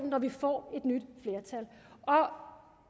når vi får et nyt flertal